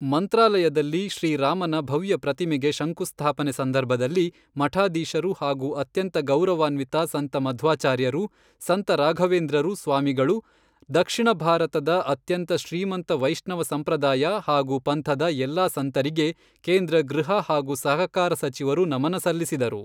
ಮಂತ್ರಾಲಯದಲ್ಲಿ ಶ್ರೀ ರಾಮನ ಭವ್ಯ ಪ್ರತಿಮೆಗೆ ಶಂಕುಸ್ಥಾಪನೆ ಸಂದರ್ಭದಲ್ಲಿ ಮಠಾಧೀಶರು ಹಾಗೂ ಅತ್ಯಂತ ಗೌರವಾನ್ವಿತ ಸಂತ ಮಧ್ವಾಚಾರ್ಯರು, ಸಂತ ರಾಘವೇಂದ್ರರು ಸ್ವಾಮಿಗಳು, ದಕ್ಷಿಣ ಭಾರತದ ಅತ್ಯಂತ ಶ್ರೀಮಂತ ವೈಷ್ಣವ ಸಂಪ್ರದಾಯ ಹಾಗೂ ಪಂಥದ ಎಲ್ಲಾ ಸಂತರಿಗೆ ಕೇಂದ್ರ ಗೃಹ ಹಾಗೂ ಸಹಕಾರ ಸಚಿವರು ನಮನ ಸಲ್ಲಿಸಿದರು.